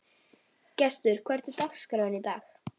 Gestur, hvernig er dagskráin í dag?